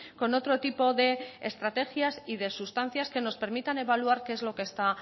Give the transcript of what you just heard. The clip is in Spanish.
con otro tipo de estrategias y de sustancias que nos permitan evaluar qué es lo que está